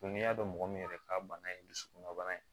n'i y'a dɔn mɔgɔ min yɛrɛ ka bana ye dusukun na bana ye